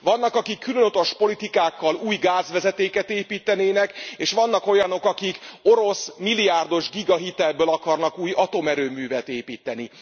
Vannak, akik külön utas politikákkal új gázvezetéket építenének, és vannak olyanok, akik orosz milliárdos gigahitelből akarnak új atomerőművet építeni.